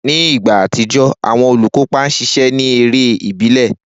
Ni igba atijọ, awọn olukopa ṣiṣẹ ni ere ibile.